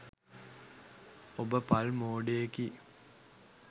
ඔබ පල් මෝඩයෙකි